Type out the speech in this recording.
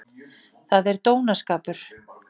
Það er dónaskapur!